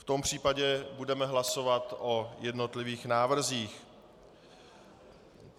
V tom případě budeme hlasovat o jednotlivých návrzích.